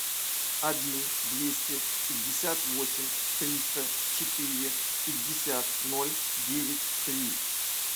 один двести пятьдесят восемь триста четыре пятьдесят ноль девять три